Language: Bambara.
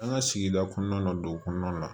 An ka sigida kɔnɔna na dugu kɔnɔna la